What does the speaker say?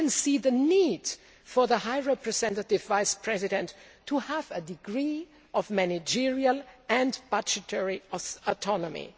I can see the need for the High Representative Vice President to have a degree of managerial and budgetary autonomy.